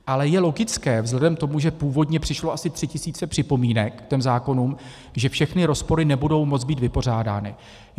Ale je logické, vzhledem k tomu, že původně přišlo asi tři tisíce připomínek k těm zákonům, že všechny rozpory nebudou moc být vypořádány.